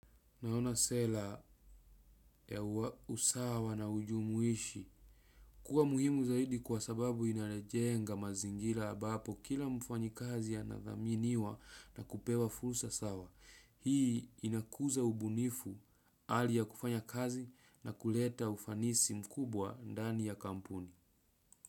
Naona sela ya usawa na ujumuishi, kuwa muhimu zaidi kwa sababu inalijenga mazingira ambapo kila mfanyi kazi anadhaminiwa na kupewa fursa sawa. Hii inakuza ubunifu hali ya kufanya kazi na kuleta ufanisi mkubwa ndani ya kampuni.